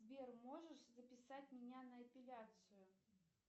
сбер можешь записать меня на эпиляцию